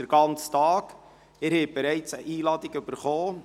Sie haben bereits eine Einladung erhalten.